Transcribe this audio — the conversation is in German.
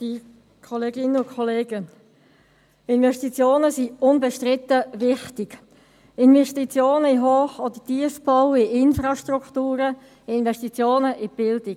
Investitionen sind unbestritten wichtig, Investitionen in Hoch- oder Tiefbau, in Infrastrukturen, in Investitionen, in die Bildung.